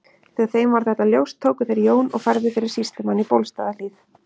Þegar þeim varð þetta ljóst tóku þeir Jón og færðu fyrir sýslumann í Bólstaðarhlíð.